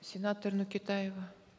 сенатор нөкетаева